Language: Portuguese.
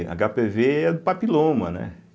agápêvê é do papiloma, né?